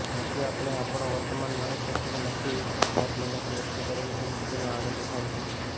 નથી આપણે આપણો વર્તમાન માણી શક્તા કે નથી જાતમહેનતથી એકઠી કરેલી સંપત્તિનો આનંદ ઉઠાવી શક્તા